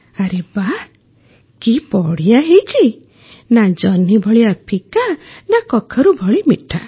ଆରେ ବାଃ କି ବଢ଼ିଆ ହେଇଛି ନା ଜହ୍ନି ଭଳିଆ ଫିକା ନା କଖାରୁ ଭଳି ମିଠା